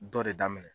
Dɔ de daminɛ